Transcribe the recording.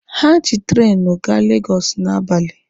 Ha ji treenụ gaa Legọsụ n'abalị.